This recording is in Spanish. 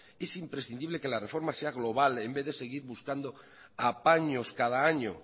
es imprescindible que la reforma sea global en vez de seguir buscando apaños cada año